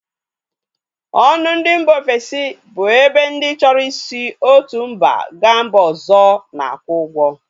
Ọnụ ndị mba ofesi bụ ebe ndị chọrọ i si otu mba ga mba ọzọ na-akwụ ụgwọ